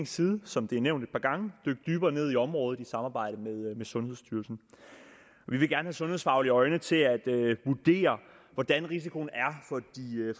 side som det er nævnt et par gange dykke dybere ned i området i samarbejde med sundhedsstyrelsen vi vil gerne have sundhedsfaglige øjne til at vurdere hvordan risikoen